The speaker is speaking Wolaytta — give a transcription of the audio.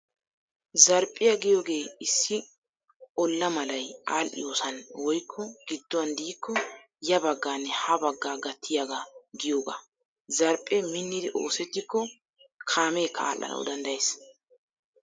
Zarphphiyaa giyoogee issi olla malay aadhdhiyoosan woykko gidduwan diikko ya baggaanne ha baggaa gattiyaagaa giyoogaa. Zarphphe minnidi oosettikko kaameekka aadhdhanwu danddayees.